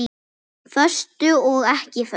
Föstu og ekki föstu.